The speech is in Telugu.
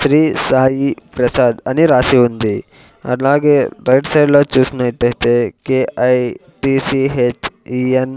శ్రీ సాయి ప్రసాద్ అని రాసి ఉంది అలాగే రైట్ సైడ్ లో చూసినట్టైతే K I T C H E N --